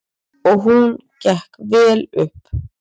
Og hún gekk vel upp.